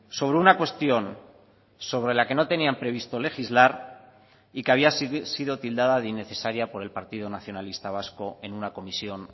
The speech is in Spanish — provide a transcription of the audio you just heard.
sobre una cuestión sobre la que no tenían previsto legislar y que había sido tildada de innecesaria por el partido nacionalista vasco en una comisión